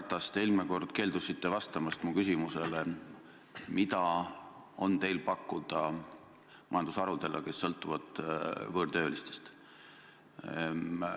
Härra Ratas, te eelmine kord keeldusite vastamast mu küsimusele, mida on teil pakkuda majandusharudele, kes sõltuvad võõrtöölistest.